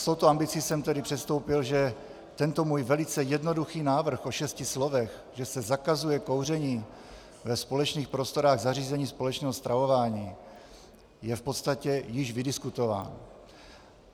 S touto ambicí jsem tedy předstoupil, že tento můj velice jednoduchý návrh o šesti slovech, že se zakazuje kouření ve společných prostorách zařízení společného stravování, je v podstatě již vydiskutován.